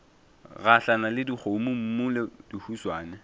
gahlana le dikgomommuu le dihuswane